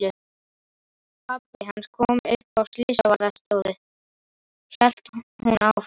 Pabbi hans kom upp á Slysavarðstofu, hélt hún áfram.